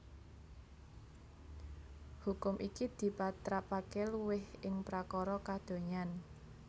Hukum iki dipatrapaké luwih ing prakara kadonyan